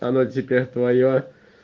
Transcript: она теперь твоя